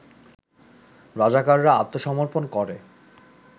রাজাকাররা আত্মসমর্পন করে